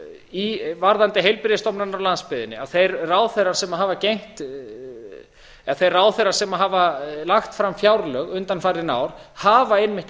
varðandi heilbrigðisstofnanirnar á landsbyggðinni að þeir ráðherrar sem hafa lagt áfram fjárlög undanfarin ár hafa einmitt